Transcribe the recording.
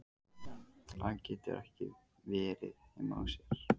Hann getur ekki verið heima hjá sér.